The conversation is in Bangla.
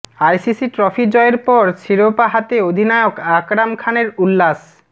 আইসিসি ট্রফি জয়ের পর শিরোপা হাতে অধিনায়ক আকরাম খানের উল্লাস